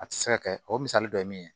A tɛ se ka kɛ o misali dɔ ye min ye